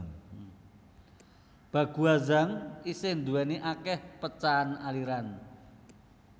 Baguazhang isih duwéni akeh pecahan aliran